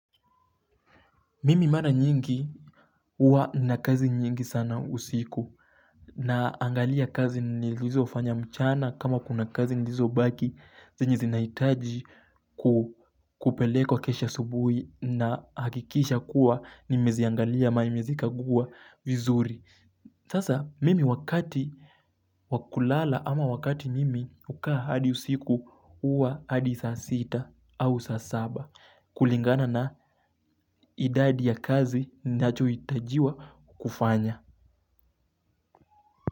Mimi mara nyingi uwa nina kazi nyingi sana usiku na angalia kazi nilizofanya mchana kama kuna kazi nilizobaki zenye zinaitaji kupelekwa kesho asubui nahakikisha kuwa nimeziangalia ama nimezikaguwa vizuri. Sasa mimi wakati wa kulala ama wakati mimi hukaa hadi usiku uwa hadi saa sita au saa saba. Kulingana na idadi ya kazi nachoitajiwa kufanya.